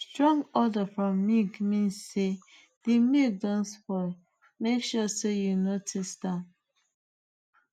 strong odour from milk mean sey the milk don spoil make sure sey you no taste am